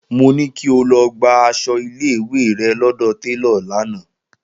Mo ní kí o lọ gba aṣọ ilé ìwé rẹ lọ́dọ̀ télọ̀ lánàá!